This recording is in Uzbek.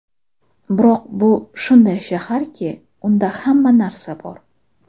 Biroq bu shunday shaharki, unda hamma narsa bor!